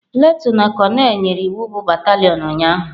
Lieutenant konel nyere iwu bụ batalion ụnyahụ.